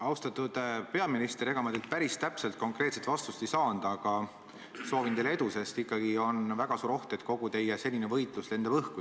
Austatud peaminister, ega ma teilt päris täpselt konkreetset vastust ei saanud, aga soovin teile edu, sest ikkagi on väga suur oht, et kogu teie senine võitlus lendab õhku.